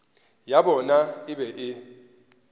ya bona e be e